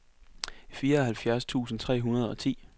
fireoghalvfjerds tusind tre hundrede og ti